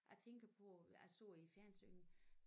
Jeg tænker på jeg så i æ fjernsyn